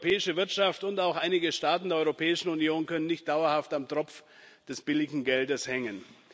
Die europäische Wirtschaft und auch einige Staaten der Europäischen Union können nicht dauerhaft am Tropf des billigen Geldes hängen.